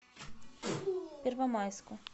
первомайску